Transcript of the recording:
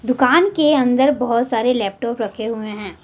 दुकान के अंदर बहुत सारे लैपटॉप रखे हुए हैं।